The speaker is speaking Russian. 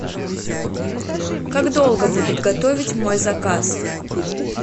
как долго будут готовить мой заказ